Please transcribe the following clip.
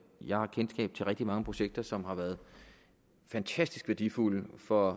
jeg har kendskab til rigtig mange projekter som har været fantastisk værdifulde for